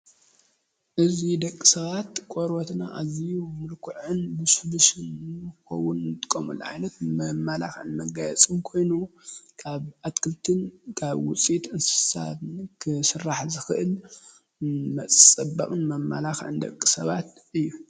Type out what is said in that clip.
እዚ ደቂ ሰባት ቆርበትና ኣዝዩ ምልኩዕን ልስሉስን ንክኸዉን ንጥቀመሉ ዓይነት መመላኽዕን መጋየፂን ኮይኑ ካብ ኣትክልትን ካብ ዉፅኢት እንስሳትን ክስራሕ ዝኽእል መፀበቂን መመላኽዕን ደቂ ሰባት እዪ ።